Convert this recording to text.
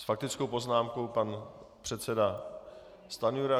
S faktickou poznámkou pan předseda Stanjura.